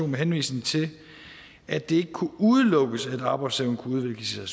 med henvisning til at det ikke kunne udelukkes at arbejdsevne kunne udvikles i